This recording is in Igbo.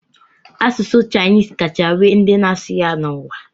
Asụsụ Chinis kacha nwee ndị na-asụ ya n'ụwa.